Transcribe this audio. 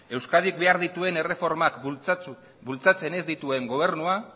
euskadik behar dituen erreformak bultzatzen ez dituen gobernua